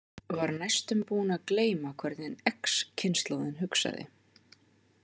Var næstum búin að gleyma hvernig X- kynslóðin hugsaði.